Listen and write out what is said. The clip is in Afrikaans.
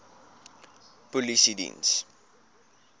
polisiediens